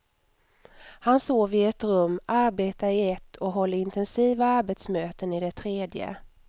Han sover i ett rum, arbetar i ett och håller intensiva arbetsmöten i det tredje.